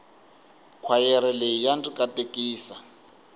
khwayere leyi ya ndzi katekisa